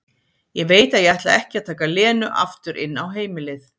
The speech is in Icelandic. Ég veit að ég ætla ekki að taka Lenu aftur inn á heimilið.